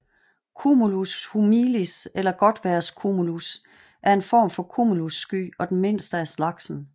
Cumulus humilis eller godtvejrscumulus er en form for cumulussky og den mindste af slagsen